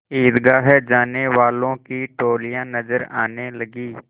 ईदगाह जाने वालों की टोलियाँ नजर आने लगीं